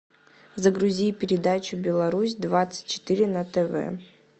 загрузи передачу беларусь двадцать четыре на тв